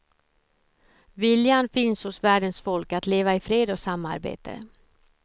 Viljan finns hos världens folk att leva i fred och samarbete.